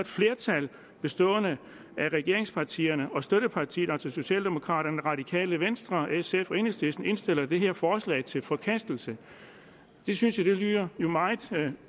flertal bestående af regeringspartierne og støttepartiet altså socialdemokraterne radikale venstre sf og enhedslisten indstiller det her forslag til forkastelse det synes jeg jo lyder meget